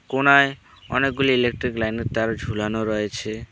কোনায় অনেকগুলি electric line -এর তার ঝুলানো রয়েছে।